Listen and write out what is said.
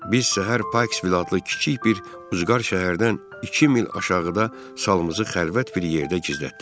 Biz səhər Paks Vil adlı kiçik bir ucqar şəhərdən iki mil aşağıda salımızı xəlvət bir yerdə gizlətdik.